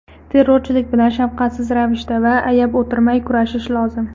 Terrorchilik bilan shafqatsiz ravishda va ayab o‘tirmay kurashish lozim.